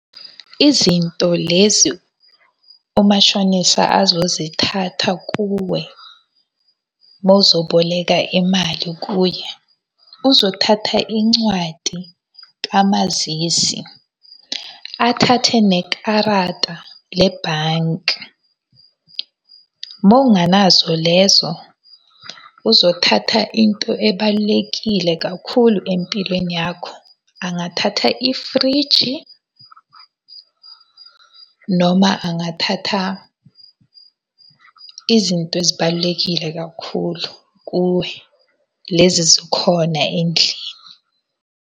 Izinto lezi umashonisa azozithatha kuwe, mawuzoboleka imali kuye. Uzothatha incwadi kamazisi, athathe nekarata lebhanki. Mawungenazo lezo, uzothatha into ebalulekile kakhulu empilweni yakho. Angathatha ifriji, noma angathatha izinto ezibalulekile kakhulu kuwe. Lezi ezikhona endlini.